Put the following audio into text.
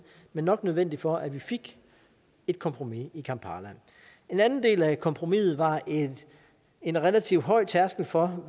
men nok nødvendigt for at vi fik et kompromis i kampala en anden del af kompromiset var en relativt høj tærskel for